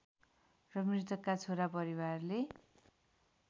र मृतकका छोरा परिवारले